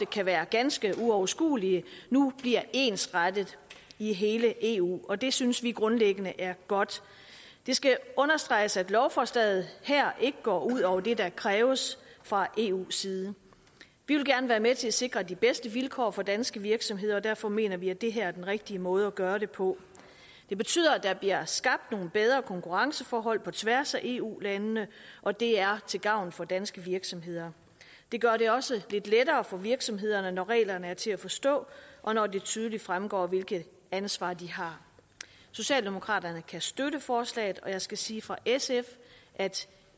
kan være ganske uoverskuelige nu bliver ensrettet i hele eu og det synes vi grundlæggende er godt det skal understreges at lovforslaget her ikke går ud over det der kræves fra eus side vi vil gerne være med til at sikre de bedste vilkår for danske virksomheder og derfor mener vi at det her er den rigtige måde at gøre det på det betyder at der bliver skabt nogle bedre konkurrenceforhold på tværs af eu landene og det er til gavn for danske virksomheder det gør det også lidt lettere for virksomhederne når reglerne er til at forstå og når det tydeligt fremgår hvilket ansvar de har socialdemokraterne kan støtte forslaget og jeg skal sige fra sf at